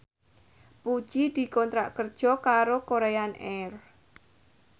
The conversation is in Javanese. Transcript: Puji dikontrak kerja karo Korean Air